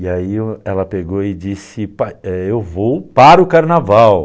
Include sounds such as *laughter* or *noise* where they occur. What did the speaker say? E aí ela pegou e disse, *unintelligible* eu vou para o carnaval.